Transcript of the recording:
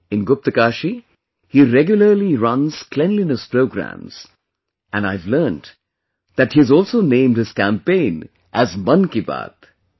In Guptkashi, he regularly runs cleanliness programmes, and, I have learned that he has also named this campaign as 'Mann Ki Baat'